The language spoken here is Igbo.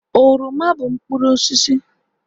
oroma bụ mkpụrụ osisi